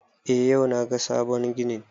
Eh yau na ga sabon ginin